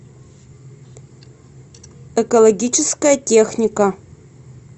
экологическая техника